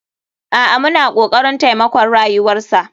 A'a muna kokarin taimakon rayuwarsa.